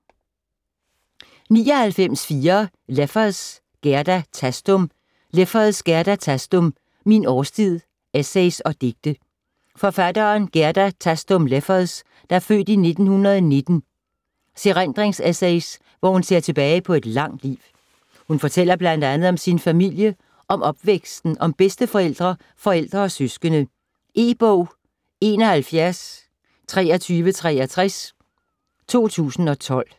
99.4 Leffers, Gerda Thastum Leffers, Gerda Thastum: Min årstid: essays og digte Forfatteren Gerda Thastum Leffers (f. 1919) erindringsessays, hvor hun ser tilbage på et langt liv. Hun fortæller bl.a. om sin familie, om opvæksten, om bedsteforældre, forældre og søskende. E-bog 712363 2012.